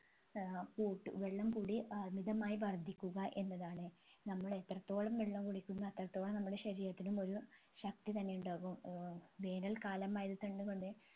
ഏർ കൂട് വെള്ളം കുടി അമിതമായി വർധിക്കുക എന്നതാണ് നമ്മൾ എത്രത്തോളം വെള്ളം കുടിക്കുന്നു അത്രത്തോളം നമ്മുടെ ശരീരത്തിനും ഒരു ശക്തി തന്നെ ഉണ്ടാകും ഏർ വേനൽ കാലമായത് തന്നെ കൊണ്ട്